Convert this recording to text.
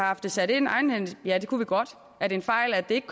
haft det sat ind egenhændigt ja det kunne vi godt er det en fejl at det ikke